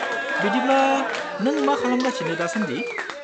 बिदिब्ला नों मा खालामगासिनो दासान्दि?